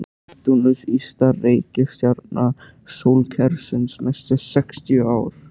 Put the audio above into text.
Neptúnus ysta reikistjarna sólkerfisins næstu sextíu árin.